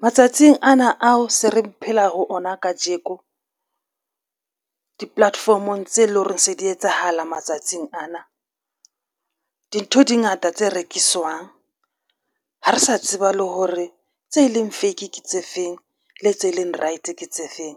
Matsatsing ana ao se re phela ho ona kajeko di-platform-ong tse leng hore se di etsahala matsatsing ana. Dintho dingata tse rekiswang. Ha re sa tseba le hore tse leng fake tse feng le tse leng right ke tse feng